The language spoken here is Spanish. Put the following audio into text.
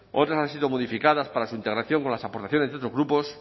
otras han sido modificadas para su integración con las aportaciones de otros grupos